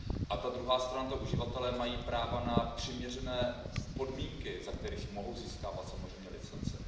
A ta druhá strana, uživatelé, mají práva na přiměřené podmínky, za kterých mohou získávat samozřejmě licence.